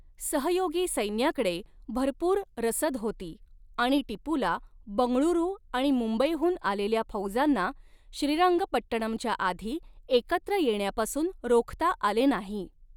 सहयोगी सैन्याकडे भरपूर रसद होती आणि टिपूला बंगळुरू आणि मुंबईहून आलेल्या फौजांना श्रीरंगपट्टणमच्याआधी एकत्र येण्यापासून रोखता आले नाही.